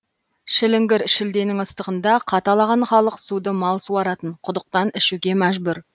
шіліңгір шілденің ыстығында қаталаған халық суды мал суаратын құдықтан ішуге мәжбүр